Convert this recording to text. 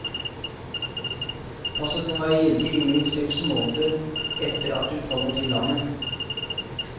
Passet må være gyldig i minst seks måneder etter at du kommer til landet.